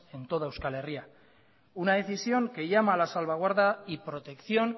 en toda euskal herria una decisión que llama a la salvaguarda y protección